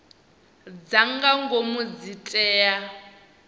dza nga ngomu dzi tea